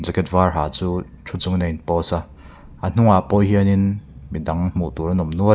var ha chu thu chungin a in post a a hnungah pawh hianin midang hmuh tur an awm nual--